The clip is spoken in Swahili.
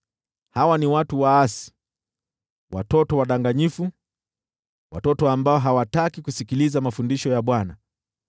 Hawa ni watu waasi, watoto wadanganyifu, watoto ambao hawataki kusikiliza mafundisho ya Bwana .